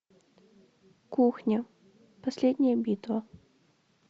кухня последняя битва